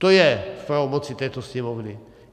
To je v pravomoci této Sněmovny.